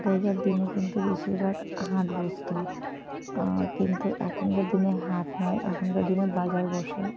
দিনে কিন্তু বেশিরভাগ হাট বসতো অ্যা কিন্তু এখনকার দিনে হাট নই এখনকার দিনে বাজার বসে।